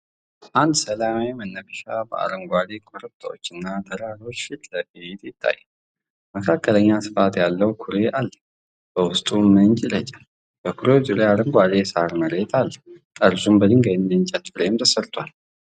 አንድ ሰላማዊ መናፈሻ በአረንጓዴ ኮረብታዎችና ተራሮች ፊት ለፊት ይታያል። መካከለኛ ስፋት ያለው ኩሬ አለ፤ በውስጡም ምንጭ ይረጫል። በኩሬው ዙሪያ አረንጓዴ የሣር መሬት አለ፤ ጠርዙም በድንጋይና በእንጨት ፍሬም ተሰርቷል።